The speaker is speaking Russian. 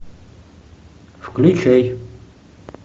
включай